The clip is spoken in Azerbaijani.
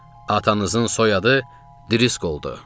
Atanızın soyadı Driscolldu.